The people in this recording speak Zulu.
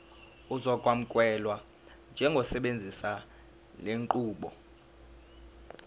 uzokwamukelwa njengosebenzisa lenqubo